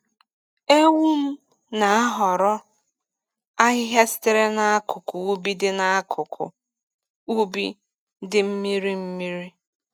Ewum na-ahọrọ ahịhịa sitere n’akụkụ ubi dị n’akụkụ ubi dị mmiri mmiri.